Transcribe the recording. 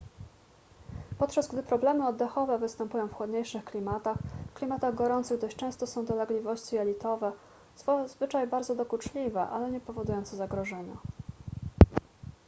podczas gdy problemy oddechowe występują w chłodniejszych klimatach w klimatach gorących dość często są dolegliwości jelitowe zazwyczaj bardzo dokuczliwe ale niepowodujące zagrożenia